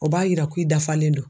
O b'a yira ko i dafalen do.